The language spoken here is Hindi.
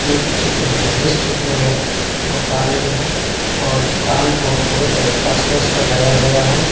एक चित्र है जिस चित्र में दुकान भी है और दुकान को पूरे तरीका से सजाया गया है।